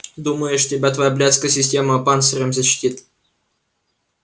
думаешь тебя твоя блядская система панцирем защитит